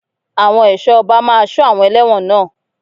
Àwọn ẹ̀ṣọ́ ọba máa sọ àwọn elẹ́wọ̀n náà.